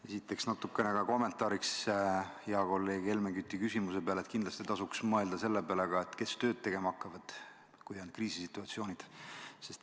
Esiteks natukene kommentaariks hea kolleegi Helmen Küti küsimuse peale: kindlasti tasuks mõelda sellele, kes tööd tegema hakkavad, kui on kriisisituatsioonid.